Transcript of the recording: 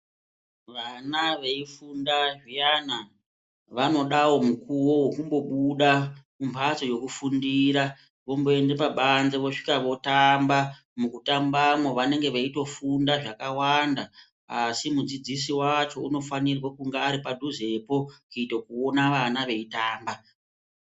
Vana veifunda zviyana vanodawo mukuwo wokumbobuda mumbatso yokufundira vomboende pabanze vosvika votamba, mukutambamwo vanenge veitofunda zvakawanda asi mudzidziso wacho inofanirwa kunga aripo padhuzepo kuito kuona vana veitamba.